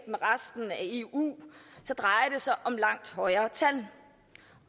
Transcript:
eu så drejer det sig om langt højere tal